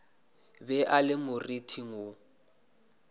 be a le moriting wo